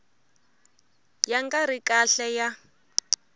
ya nga ri kahle ya